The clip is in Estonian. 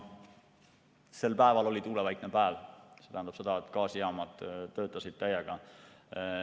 See oli tuulevaikne päev, see tähendab seda, et gaasijaamad töötasid täiega.